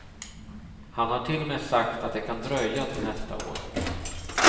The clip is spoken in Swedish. Han har till och med sagt att det kan dröja till nästa år.